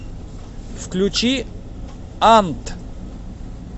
включи ант